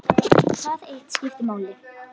Það eitt skipti máli.